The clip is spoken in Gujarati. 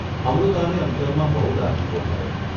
અમૃતાને અંતરમાં બહુ રાજીપો થયો.